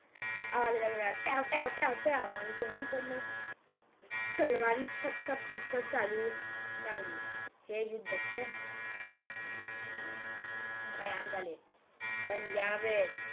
आवाज आला ट्याव ट्याव ट्याव आणि दोन्ही कडण आह तलवारी सप सप सप चालू लागली ह युद्ध खूप भयाण झाले पण या वेळेस